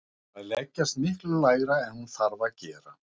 Þær leggjast miklu lægra en hún þarf að gera.